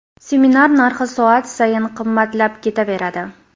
Seminar narxi soat sayin qimmatlab ketaveradi.